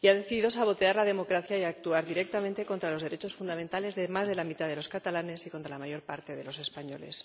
y ha decidido sabotear la democracia y actuar directamente contra los derechos fundamentales de más de la mitad de los catalanes y contra la mayor parte de los españoles.